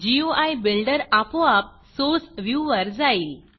गुई builder आपोआप source viewer जाईल